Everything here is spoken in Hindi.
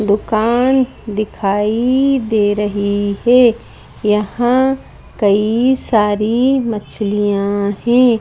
दुकान दिखाई दे रही है यहां कई सारी मछलियां हैं।